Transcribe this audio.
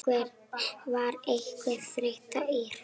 Var einhver þreyta í hópnum?